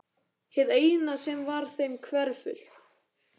Hið eina sem var þeim hverfult.